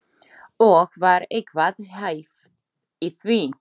Og var eitthvað hæft í því?